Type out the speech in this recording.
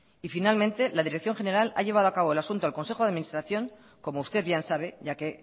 y finalmente la dirección general ha llevado acabo el asunto al consejo de administración como usted bien sabe ya que